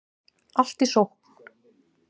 Allt í sókn